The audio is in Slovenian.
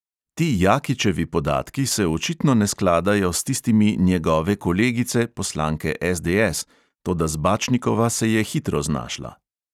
Ti jakičevi podatki se očitno ne skladajo s tistimi njegove kolegice, poslanke SDS, toda zbačnikova se je hitro znašla.